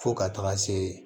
Fo ka taga se